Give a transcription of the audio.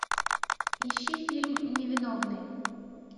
ищи фильм невиновный